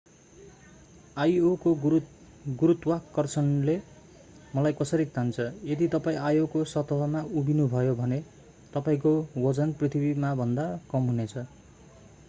io को गुरुत्वाकर्षणले मलाई कसरी तान्छ यदि तपाईं io को सतहमा उभिनुभयो भने तपाईंको वजन पृथ्वीमाभन्दा कम हुनेछ